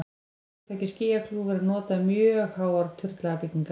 hugtakið skýjakljúfur er notað um mjög háar turnlaga byggingar